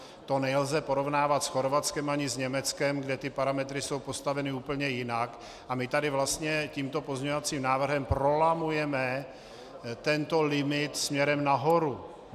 To nelze porovnávat s Chorvatskem ani s Německem, kde ty parametry jsou postaveny úplně jinak, a my tady vlastně tímto pozměňovacím návrhem prolamujeme tento limit směrem nahoru.